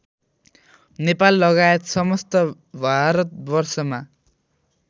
नेपाललगायत समस्त भारतवर्षमा